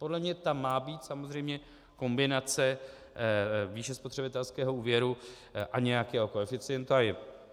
Podle mě tam má být samozřejmě kombinace výše spotřebitelského úvěru a nějakého koeficientu.